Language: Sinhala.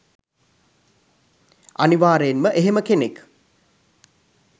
අනිවාර්යෙන්ම එහෙම කෙනෙක්